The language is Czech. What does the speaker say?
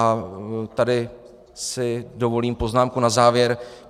A tady si dovolím poznámku na závěr.